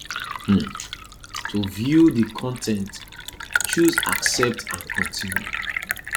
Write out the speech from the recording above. um to view dis con ten t choose accept and continue